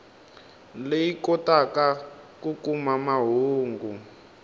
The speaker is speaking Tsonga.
leyi kotaka ku kuma mahungu